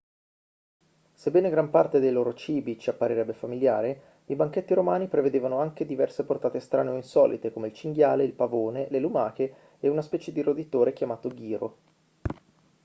sebbene gran parte dei loro cibi ci apparirebbe familiare i banchetti romani prevedevano anche diverse portate strane o insolite come il cinghiale il pavone le lumache e una specie di roditore chiamato ghiro